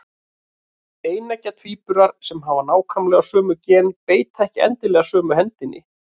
Eineggja tvíburar sem hafa nákvæmlega sömu gen beita ekki endilega sömu hendinni.